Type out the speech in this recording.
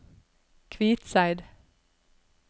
Kvitseid